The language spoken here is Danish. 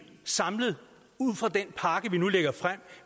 samlet ud fra den pakke vi nu lægger frem